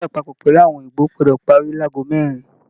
Ìpàdé apapọ pẹlú àwọn òyìnbó gbọdọ parí láàgò mẹrin!